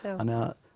þannig